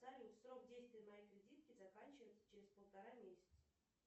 салют срок действия моей кредитки заканчивается через полтора месяца